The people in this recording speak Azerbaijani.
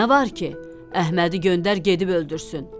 Nə var ki, Əhmədi göndər gedib öldürsün.